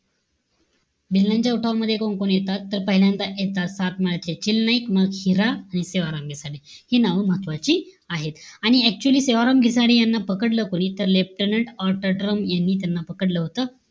भिल्लांच्या उठावामध्ये कोण-कोण येतात? तर, पहिल्यादा येतात सातमाळ्याचे चिल नाईक. मग हिरा आणि सेवाराम गिसाडे. हि नाव महत्वाची आहेत. आणि actually सेवाराम गिसाडे याना पकडलं कोणी? तर, leftenant ऑटोड्रम यांनी त्यांना पकडलं होतं.